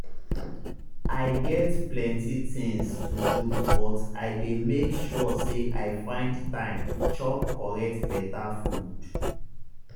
i get plenty tinz to do but i dey make sure say i find time chop correct beta food.